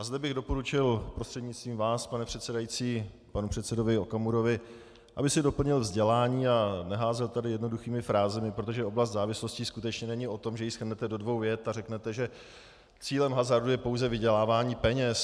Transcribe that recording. A zde bych doporučil prostřednictvím vás, pane předsedající, panu předsedovi Okamurovi, aby si doplnil vzdělání a neházel tady jednoduchými frázemi, protože oblast závislostí skutečně není o tom, že ji shrnete do dvou vět a řeknete, že cílem hazardu je pouze vydělávání peněz.